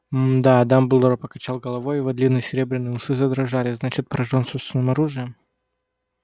мда дамблдор покачал головой и его длинные серебряные усы задрожали значит поражён собственным оружием